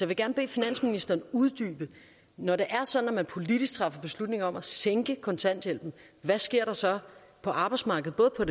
vil gerne bede finansministeren uddybe når det er sådan at man politisk træffer beslutning om at sænke kontanthjælpen hvad sker der så på arbejdsmarkedet både på